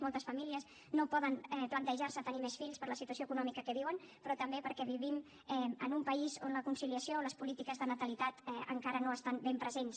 moltes famílies no poden plantejar se tenir més fills per la situació econòmica que viuen però també perquè vivim en un país on la conciliació o les polítiques de natalitat encara no estan ben presents